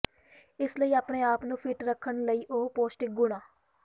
ਇਸ ਲਈ ਆਪਣੇ ਆਪ ਨੂੰ ਫਿੱਟ ਰੱਖਣ ਲਈ ਉਹ ਪੌਸ਼ਟਿਕ ਗੁਣਾਂ